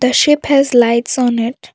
Ship has lights on it.